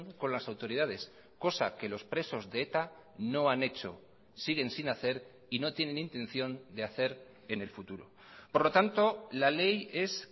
con las autoridades cosa que los presos de eta no han hecho siguen sin hacer y no tienen intención de hacer en el futuro por lo tanto la ley es